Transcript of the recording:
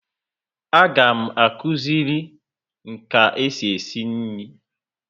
A ga m akuziri nka e si esi nri